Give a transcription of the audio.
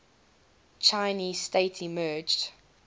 chinese state emerged